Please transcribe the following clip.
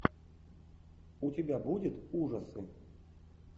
у тебя будет ужасы